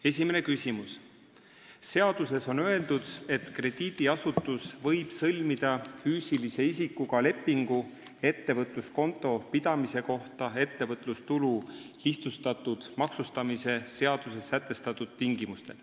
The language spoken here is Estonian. Esimene küsimus: "Seaduses on öeldud, et krediidiasutus võib sõlmida füüsilise isikuga lepingu ettevõtluskonto pidamise kohta ettevõtlustulu lihtsustatud maksustamise seaduses sätestatud tingimustel.